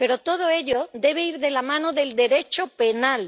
Pero todo ello debe ir de la mano del Derecho penal.